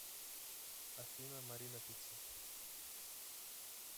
афина марина пицца